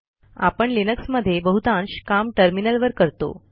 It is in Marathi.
आपण लिनक्समध्ये बहुतांश काम टर्मिनलवर करतो